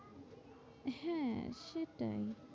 সেটাই,